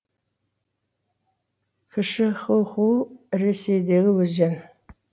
кіші хуху ресейдегі өзен